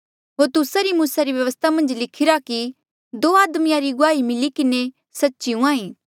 होर तुस्सा री मूसा री व्यवस्था मन्झ लिखिरा कि दो आदमिया री गुआही मिली किन्हें सच्ची हूंहां ईं